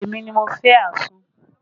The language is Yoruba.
Èmi ni mo fẹ́ àsun